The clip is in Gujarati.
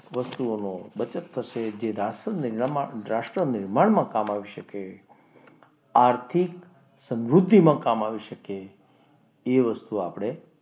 વસ્તુઓનો બચત થશે જેથી રાષ્ટ્ર નિર્માણમાં કામ આવશે. આર્થિક સમૃદ્ધિમાં કામ આવી શકે એ વસ્તુ આપણે,